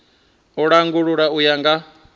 u langula u ya nga